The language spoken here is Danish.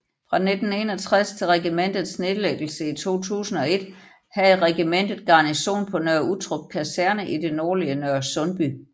Fra 1961 til regimentets nedlæggelse i 2001 havde regimentet garnison på Nørre Uttrup Kaserne i det nordlige Nørresundby